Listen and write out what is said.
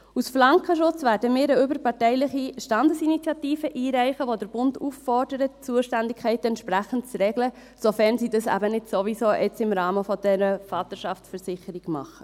Als Flankenschutz werden wir eine überparteiliche Standesinitiative einreichen, die den Bund auffordert, die Zuständigkeiten entsprechend zu regeln, sofern sie dies im Rahmen dieser Vaterschaftsversicherung jetzt nicht sowieso tun.